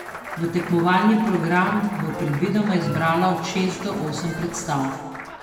V tekmovalni program bo predvidoma izbrala od šest do osem predstav.